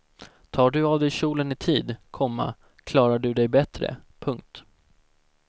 Tar du av dig kjolen i tid, komma klarar du dig bättre. punkt